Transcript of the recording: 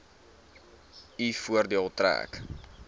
u voordeel trek